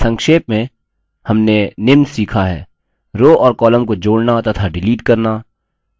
संक्षेप में हमने निम्न सीखा हैः rows और columns को जोड़ना to डिलीट करना